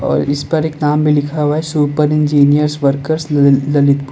और इस पर एक नाम भी लिखा हुआ है सुपर इंजीनियर वर्कस ललितपुर।